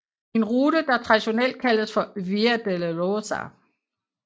En rute der traditionelt kaldes for Via Dolorosa